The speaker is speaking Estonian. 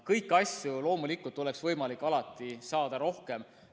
Kõiki asju võiks loomulikult alati olla rohkem.